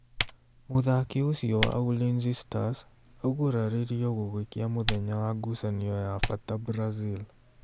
Mũthaki ũcio wa ulinzi stars aguraririo gũgĩkĩa mũthenya wa ngũcanio ya bata Brazil